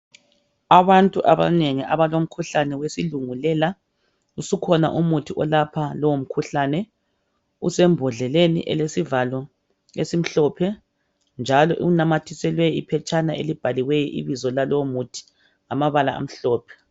Abantu abanengi abalomkhuhlane wesilungulela , usukhona umuthi olapha lowo mkhuhlane usembhodleni elesivalo esimhlophe njalo unamathiselwe iphetshana ilibhaliweyo ibizo lalowo muthi ngamabala amhlophe.